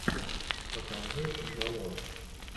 покажи джалло